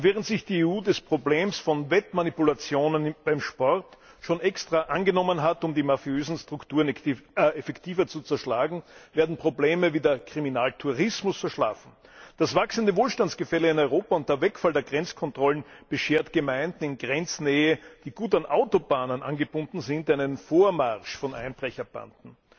Während sich die EU des Problems von Wettmanipulationen beim Sport schon angenommen hat, um die mafiösen Strukturen effektiver zu zerschlagen, werden Probleme wie der Kriminaltourismus verschlafen. Das wachsende Wohlstandsgefälle in Europa und der Wegfall der Grenzkontrollen beschert Gemeinden in Grenznähe, die gut an Autobahnen angebunden sind, einen Vormarsch von Einbrecherbanden.